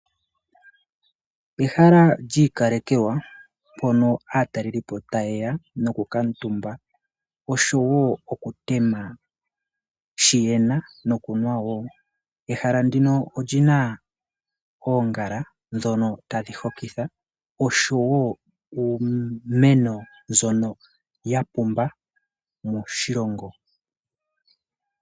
Ehala lyiikalekekwa mpono aatalelipo tayeya nokukala omuntumba etaya yotha shono yena nokunwa wo. Rhala ndino olina oongala oshowo uumeno mbono tawu hokitha.